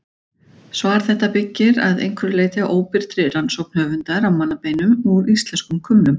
Svar þetta byggir að einhverju leyti á óbirtri rannsókn höfundar á mannabeinum úr íslenskum kumlum.